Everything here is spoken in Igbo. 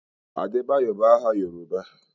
Adebayo bụ aha Yoruba.